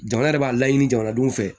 Jamana yɛrɛ b'a laɲini jamanaw fɛ